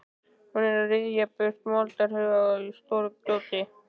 Hún er að ryðja burtu moldarhaugum og stóru grjóti.